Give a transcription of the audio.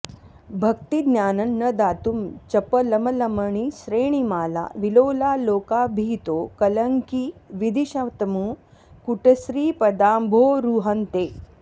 भक्तिज्ञानं न दातुं चपलमलमणिश्रेणिमाला विलोला लोकाभीतो कलङ्की विधिशतमुकुटश्रीपदाम्भोरुहं ते